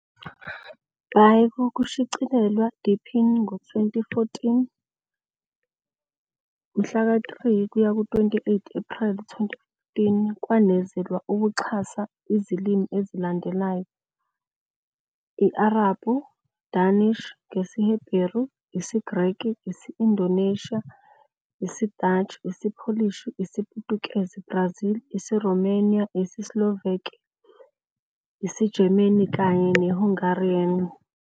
By kokushicilelwa deepin 2014, ngomhla ka-3 kuya ku-28 Ephreli 2015, kwanezelwa ukuxhasa zilimi ezilandelayo - Arabhu, Danish, ngesiHebheru, isiGreki, isi-Indonesia, Dutch, isiPolish, isiPutukezi, Brazil, isiRomania, isiSlovak, isiGerman kanye neHungarian.